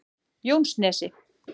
Jónsnesi